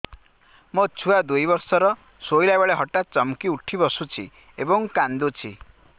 ମୋ ଛୁଆ ଦୁଇ ବର୍ଷର ଶୋଇଲା ବେଳେ ହଠାତ୍ ଚମକି ଉଠି ବସୁଛି ଏବଂ କାଂଦୁଛି